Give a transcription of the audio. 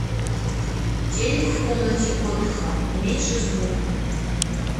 телик в комнате отдыха уменьши звук